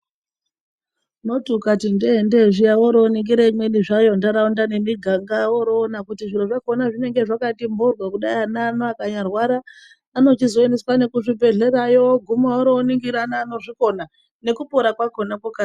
Unoti ukati ndee ndee zviya woroningire imweni zvayo ntaraunda nemiganga woroona kuti zviro zvakona zvinenge zvakati mboryo kudai ana ano akanyarwara anochizoendeswa nekuzvibhedhlerayo oguma oroningira neanozvikona ngekupona kwakona kwokasira.